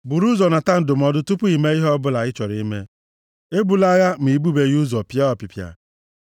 Buru ụzọ nata ndụmọdụ tupu i mee ihe ọbụla ị chọrọ ime; ebula agha ma i bubeghị ụzọ pịa ọpịpịa.